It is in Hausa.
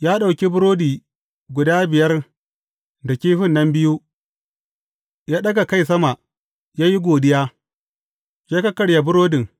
Ya ɗauki burodi guda biyar da kifin nan biyu, ya ɗaga kai sama, ya yi godiya, ya kakkarya burodin.